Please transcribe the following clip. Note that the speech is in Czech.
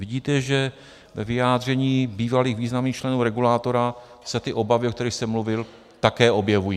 Vidíte, že ve vyjádření bývalých významných členů regulátora se ty obavy, o kterých jsem mluvil, také objevují.